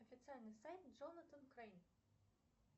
официальный сайт джонатан крейн